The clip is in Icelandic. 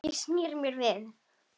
Ég sneri mér við.